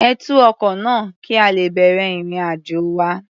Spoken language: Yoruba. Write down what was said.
Ẹ tú ọkọ náà, kí a lè bẹ̀rẹ̀ ìrìn-àjò wa.